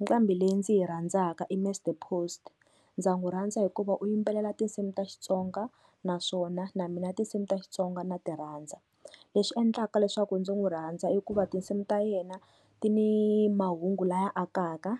Nqambhi leyi ndzi yi rhandzaka i mister Post, ndza n'wu rhandza hikuva u yimbelela tinsimu ta Xitsonga naswona na mina tinsimu ta Xitsonga na ti rhandza, leswi endlaka leswaku ndzi n'wi rhandza i ku va tinsimu ta yena ti ni mahungu laya akaka